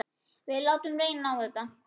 Við látum reyna á þetta.